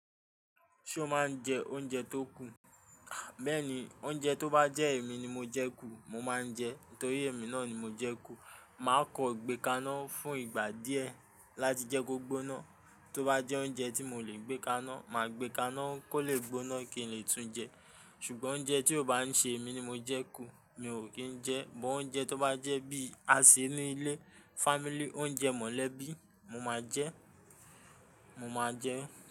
Ṣo máa ń jẹ oúnjẹ tó kù? Béèni oúnjẹ tó bá jẹ́ èmi ni mo jẹ kú, mo máa ń jẹ ẹ́ torí èmi náà ni mo jẹ kú. Mà á kọ gbẹ́ kaná fún ìgbà díẹ̀ láti jẹ́ kó gbóná. Tó bá jẹ́ oúnjẹ tí mò lè gbé kaná, mà á gbé kaná kó lè gbóná kí n lè tún jẹ ẹ́. Ṣùgbọ́n oúnjẹ tí ò bá ń ṣe èmi ni mo jẹ kú, mi ò kí ń jẹ ẹ́. But oúnjẹ tó bá jẹ́ bí a ṣe ní ilé, family oúnjẹ mọ̀lẹ́bí, mo máa jẹ ẹ́, mo máa jẹ ẹ́